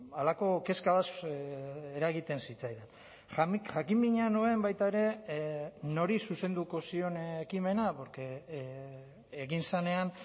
halako kezka bat eragiten zitzaidan jakinmina nuen baita ere nori zuzenduko zion ekimena porque egin zenean